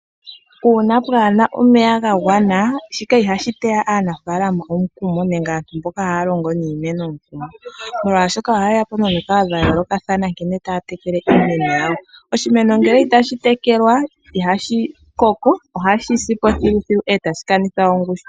Uuna kapu na omeya ga gwana, shika ihashi teya aanafalama omukumo, nenge aantu mboka haya longo niimeno omukumo, molwaashoka oha yeya po nomikalo dha yoolokathana nkene taya tekele iimeno yawo. Oshimeno ngele itashi tekelwa ihashi koko, ohashi sipo thiluthilu e tashi kanitha ongushu.